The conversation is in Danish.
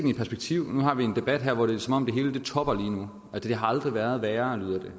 i perspektiv nu har vi en debat her hvor det er som om det hele topper lige nu har aldrig været værre lyder det